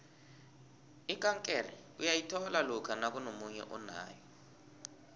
ikankere uyayithola lokha nakunomunye onayo